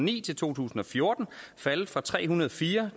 ni til to tusind og fjorten faldet fra tre hundrede og fire